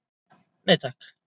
Nei takk.